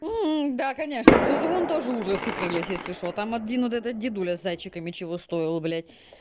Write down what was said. да конечно в тазовом тоже ужасы крылись если что там один этот дедуля с зайчиками чего только стоил блядь